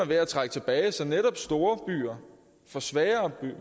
ved at trække tilbage så netop storbyer får sværere